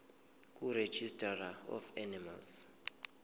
kuregistrar of animals